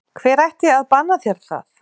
Hver ætti að banna þér það?